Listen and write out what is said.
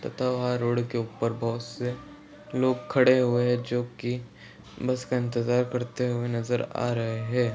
Road के ऊपर बहुत से लोग खड़े हुए हैं जोकी बस इंतेजार करते हुए नजर आ रहे हैं।